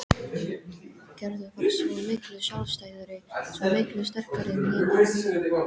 Gerður var svo miklu sjálfstæðari, svo miklu sterkari en Nína.